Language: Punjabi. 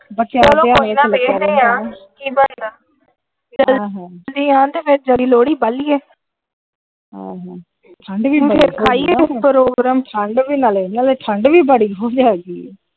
ਇਹ ਜਲਦੀ ਆਉਣ ਲੋੜਹੀ ਬਾਲੀ ਇਹ ਆਹ ਠੰਡ ਵੀ ਠੰਡ ਵੀ ਬੜੀ ਹੋਗੀ ਐਤਕੀ ।